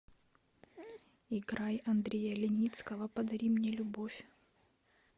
играй андрея леницкого подари мне любовь